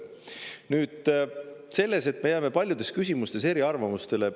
Nüüd sellest, et me jääme paljudes küsimustes eriarvamustele.